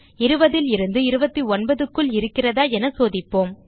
20 லிருந்து 29 க்குள் இருக்கிறதா என சோதிப்போம்